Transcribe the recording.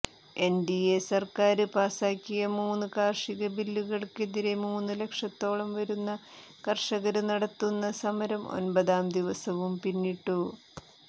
NDA സര്ക്കാര് പാസാക്കിയ മൂന്ന് കാര്ഷിക ബില്ലുകള്ക്കെതിരെ മൂന്ന് ലക്ഷത്തോളം വരുന്ന കര്ഷകര് നടത്തുന്ന സമരം ഒമ്പതാം ദിവസവും പിന്നിട്ടു